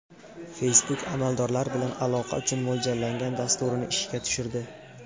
Facebook amaldorlar bilan aloqa uchun mo‘ljallangan dasturini ishga tushirdi.